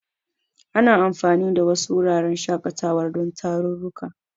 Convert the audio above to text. Ana anfani da wasu wuraren shaƙatawar don tarurruka.